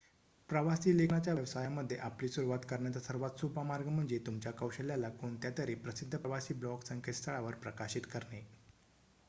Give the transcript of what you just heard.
प्रवासी लेखनाच्या व्यवसायामध्ये आपली सुरवात करण्याचा सर्वात सोपा मार्ग म्हणजे तुमच्या कौशल्याला कोणत्यातरी प्रसिद्ध प्रवासी ब्लॉग संकेत स्थळावर प्रकाशित करणे